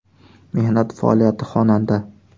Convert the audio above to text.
Mehnat faoliyati: Xonanda.